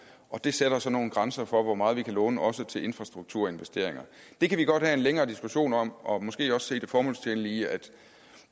og det sætter så nogle grænser for hvor meget vi kan låne også til infrastrukturinvesteringer det kan vi godt have en længere diskussion om og måske også se det formålstjenlige i at